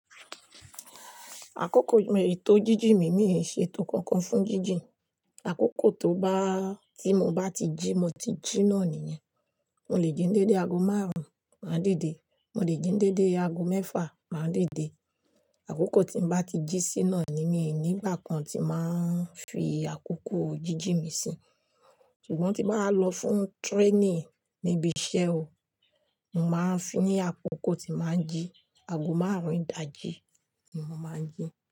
Àkókò ètò jíjì mi, mi ò ṣe ètò kankan fún jíjì. Àkókò tó bá, tí mo bá ti jí, mo ti jí náà nìyẹn. Mo lè jí dédé aago márùn-ún, màá didé. Mo lè jí dédé aago mẹ́fà, màá dédé. Àkókò tí mo bá ti jí sí náà ni, mí nígbà kan tí màá fi àkókò jíjìn mi sí. Ṣùgbọ́n tí m bà lọ fún training níbi iṣẹ́ o, mo màá fi ní àkókò tí màá jí, aago márùn-ún ìdájí ni mo máa ń jí.